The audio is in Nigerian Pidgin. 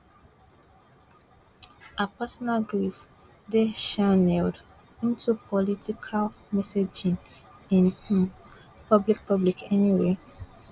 her personal grief dey channelled into political messaging in um public public anyway